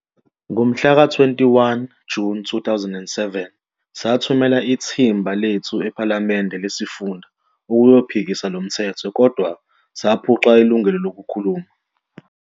Ngomhlaka 21 June 2007 sathumela ithimba lethu ephalamende lesifunda ukuyophikisa lomthetho kodwa saphucwa ilungelo lokhuluma.